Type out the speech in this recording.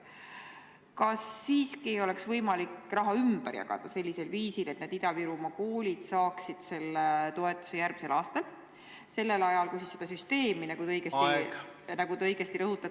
Kas siiski oleks võimalik raha ümber jagada sellisel viisil, et need Ida-Virumaa koolid saaksid toetuse järgmisel aastal sellel ajal, kui seda süsteemi, nagu te õigesti rõhutate, välja töötatakse?